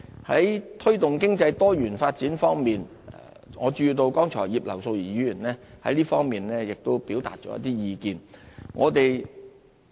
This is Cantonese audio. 在推動經濟多元發展方面，我注意到葉劉淑儀議員剛才亦就此表達了一些意見。